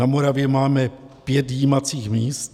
Na Moravě máme pět jímacích míst.